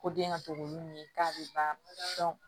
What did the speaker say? Ko den ka to k'olu ɲini k'a bɛ ban